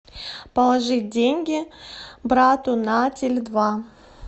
положи деньги брату на теле два